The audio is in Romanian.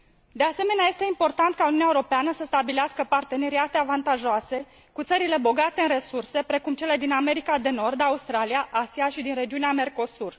De asemenea, este important ca Uniunea Europeană să stabilească parteneriate avantajoase cu țările bogate în resurse, precum cele din America de Nord, Australia, Asia și din regiunea Mercosur.